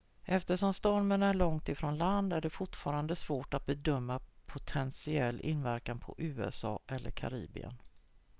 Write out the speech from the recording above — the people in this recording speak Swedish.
eftersom stormen är långt ifrån land är det fortfarande svårt att bedöma potentiell inverkan på usa eller karibien